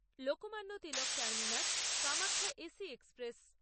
Lokmanya Tilak terminus Kamakhya AC express